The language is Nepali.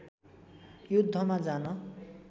युद्धमा जान